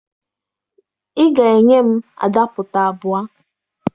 Ị ga-enye m adapụta abụọ!